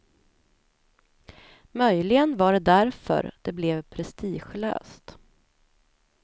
Möjligen var det därför det blev prestigelöst.